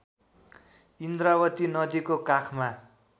इन्द्रावती नदीको काखमा